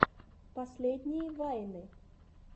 последние вайны